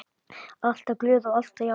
Alltaf glöð og alltaf jákvæð.